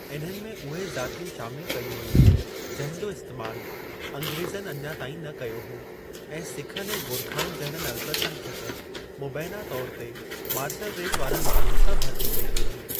इन्हनि में उहे ज़ातियूं शामिल कयूं वयूं जंहिं जो इस्तैमाल अंग्रेज़नि अञा ताईं न कयो हो ऐं सिखनि ऐं गोरखाउनि जहिड़नि अल्पसंख्यक मुबीना तौर ते मार्शल रेस वारनि माण्हुनि सां भरती कई वई हुई।